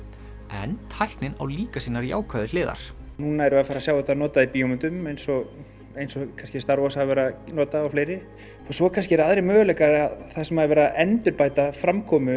en tæknin á líka sínar jákvæðu hliðar núna erum við að sjá þetta notað í bíómyndum eins og eins og kannski star Wars hafa verið að nota og fleiri og svo kannski eru aðrir möguleikar þar sem er verið að endurbæta framkomu